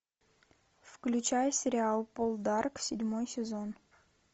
включай сериал полдарк седьмой сезон